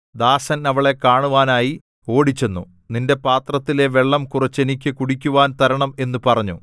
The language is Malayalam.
ദാസൻ അവളെ കാണുവാനായി ഓടിച്ചെന്നു നിന്റെ പാത്രത്തിലെ വെള്ളം കുറച്ച് എനിക്ക് കുടിക്കുവാൻ തരണം എന്നു പറഞ്ഞു